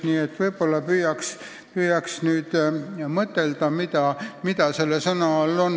Mida selle sõna all ikkagi mõeldakse?